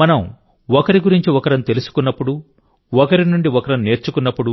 మనం ఒకరి గురించి ఒకరం తెలుసుకున్నప్పుడు ఒకరి నుండి ఒకరం నేర్చుకున్నప్పుడు